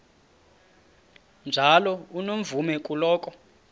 njalo unomvume kuloko